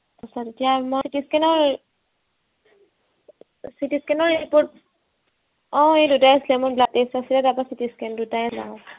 এয়া মোৰ CT scan ৰ CT scan ৰ report অ এই দুটাই আছিলে মোৰ blood test আছিলে তাৰপৰা CT scan দুটাই আছিল আৰু